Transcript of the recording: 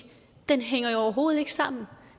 hænger jo overhovedet ikke sammen